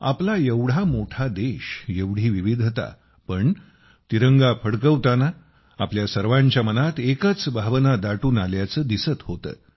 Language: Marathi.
आपला एवढा मोठा देश एवढी विविधता पण तिरंगा फडकवताना आपल्या सर्वांच्या मनात एकच भावना दाटून आल्याचे दिसत होते